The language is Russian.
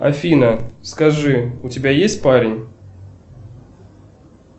афина скажи у тебя есть парень